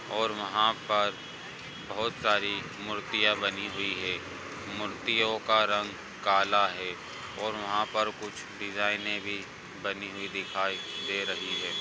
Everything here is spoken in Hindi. और वहा पर बहुत सारी मूर्तिया बनी हुई है मूर्तियो का रंग काला है और वहा पर कुछ डिजाइने भी बनी हुई दिखाई दे रही है।